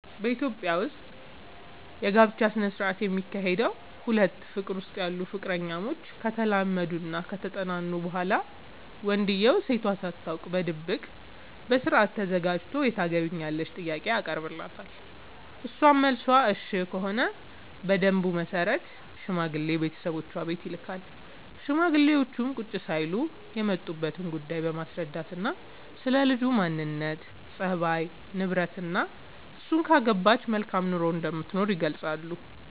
በኢትዮጵያ ዉስጥ የጋብቻ ስነ ስርዓት የሚካሄደዉ ሁለት ፍቅር ዉስጥ ያሉ ፍቅረኛሞች ከተላመዱናከተጠናኑ በኋላ ወንድዬው ሴቷ ሳታውቅ በድብቅ በስርአት ተዘጋጅቶ የታገቢኛለሽ ጥያቄ ያቀርብላታል እሷም መልሷ እሽ ከሆነ በደንቡ መሰረት ሽማግሌ ቤተሰቦቿ ቤት ይልካል ሽማግሌዎቹም ቁጭ ሳይሉ የመጡበትን ጉዳይ በማስረዳትናስለ ልጅቱ ማንነት፣ ፀባይ፤ ንብረትናእሱን ካገባች መልካም ኑሮ እንደምትኖር ይገልጻሉ።